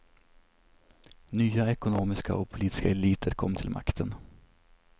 Nya ekonomiska och politiska eliter kom till makten.